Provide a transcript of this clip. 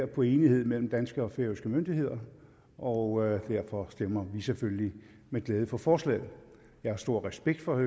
på enighed mellem danske og færøske myndigheder og derfor stemmer vi selvfølgelig med glæde for forslaget jeg har stor respekt for